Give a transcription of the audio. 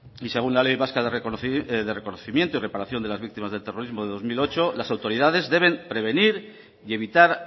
y según la ley vasca de reconocimiento y reparación de las víctimas del terrorismo de dos mil ocho las autoridades deben prevenir y evitar